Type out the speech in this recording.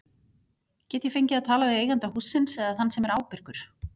Get ég fengið að tala við eiganda hússins eða þann sem er ábyrgur?